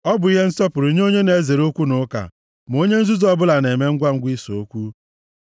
Ọ bụ ihe nsọpụrụ nye onye na-ezere okwu na ụka, ma onye nzuzu ọbụla na-eme ngwa ise okwu.